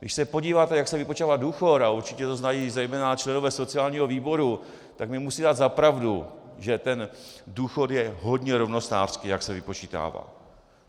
Když se podíváte, jak se vypočítává důchod - a určitě to znají zejména členové sociálního výboru, tak mi musí dát za pravdu, že ten důchod je hodně rovnostářský, jak se vypočítává.